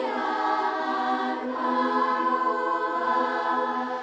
sem